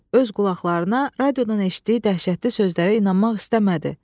Öz qulaqlarına radiodan eşitdiyi dəhşətli sözlərə inanmaq istəmədi.